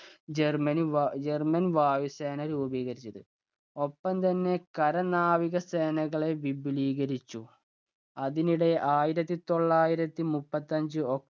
Germany german വായുസേന രൂപീകരിച്ചത്. ഒപ്പം തന്നെ കര നാവികസേനകളെ വിപുലീകരിച്ചു. അതിനിനിടെ ആയിരത്തി തൊള്ളായിരത്തി മുപ്പത്തഞ്ച് oc